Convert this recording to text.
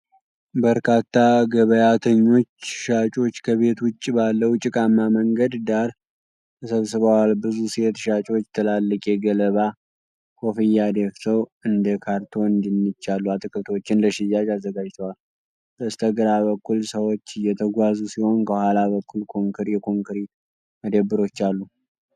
በርካታ ገበያተኞችና ሻጮች ከቤት ውጭ ባለው ጭቃማ መንገድ ዳር ተሰብስበዋል። ብዙ ሴት ሻጮች ትላልቅ የገለባ ኮፍያ ደፍተው እንደ ካሮትና ድንች ያሉ አትክልቶችን ለሽያጭ አዘጋጅተዋል። በስተግራ በኩል ሰዎች እየተጓዙ ሲሆን፣ ከኋላ በኩል የኮንክሪት መደብሮች አሉ።